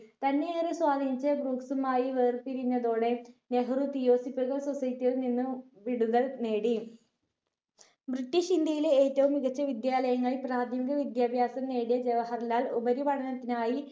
തന്നെ ഏറെ സ്വാധീനിച്ച ഭ്രൂക്സുമായി വേർപിരിഞ്ഞതോടെ നെഹ്‌റു theosophical society യിൽ നിന്ന് വിടുതൽ നേടി. british ഇന്ത്യയിലെ ഏറ്റവും മികച്ച വിദ്യാലയങ്ങൾ പ്രാഥമിക വിദ്യാഭ്യാസം നേടിയ ജവഹർലാൽ ഉപരി പഠനത്തിനായി